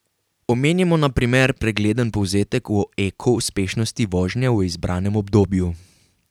Omenimo na primer pregleden povzetek o eko uspešnosti vožnje v izbranem obdobju.